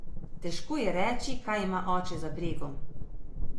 Težko je reči, kaj ima oče za bregom.